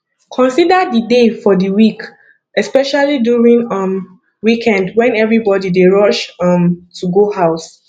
consider the day for di week especially during um weekend when everybody dey rush um to go house